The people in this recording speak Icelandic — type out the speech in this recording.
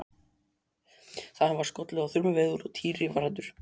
Það var skollið á þrumuveður og Týri var hræddur.